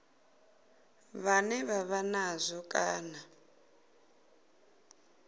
vhane vha vha nazwo kana